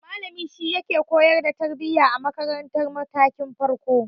Malami shi yake koyar da tarbiya a makaratar matakin farko.